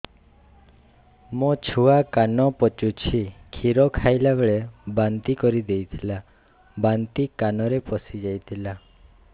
ମୋ ଛୁଆ କାନ ପଚୁଛି କ୍ଷୀର ଖାଇଲାବେଳେ ବାନ୍ତି କରି ଦେଇଥିଲା ବାନ୍ତି କାନରେ ପଶିଯାଇ ଥିଲା